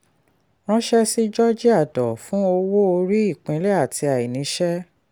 ránṣẹ́ sí georgia dor fún owó orí ìpínlè àti àìníṣẹ́.